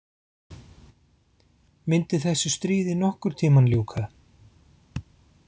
Myndi þessu stríði nokkurn tímann ljúka?